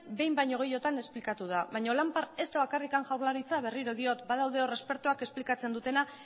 behin baino gehiagotan esplikatu da baino lampar ez da bakarrik jaurlaritza berriro diot badaude hor espertoak esplikatzen dutena